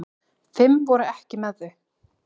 Fimm voru ekki með þau.